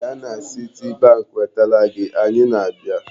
Gaa na Citibank weta tela gị! Anyị na-abịa.